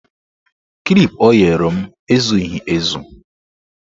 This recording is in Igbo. Klip o nyere m ezughị ezu